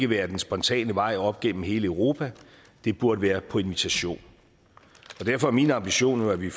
være den spontane vej op gennem hele europa det burde være på invitation derfor er min ambition jo at vi